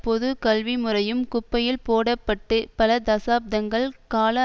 பொது கல்வி முறையும் குப்பையில் போட பட்டு பல தசாப்தங்கள் கால